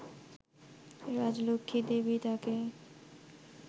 রাজলক্ষ্মী দেবী তাকে